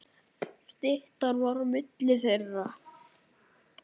Styttan var á milli þeirra.